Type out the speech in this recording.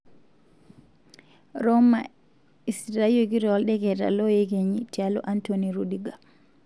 Roma esitayioki toldeketa 'loyekenyi' tialo Antony Rudiger.